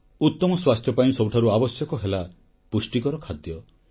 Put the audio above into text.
ଉତମ ସ୍ୱାସ୍ଥ୍ୟ ପାଇଁ ସବୁଠାରୁ ଆବଶ୍ୟକ ହେଲା ପୁଷ୍ଟିକର ଖାଦ୍ୟ